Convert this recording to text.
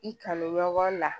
I kanu ɲɔgɔn na